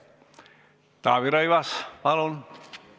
Taavi Rõivas, palun!